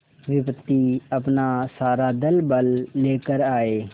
विपत्ति अपना सारा दलबल लेकर आए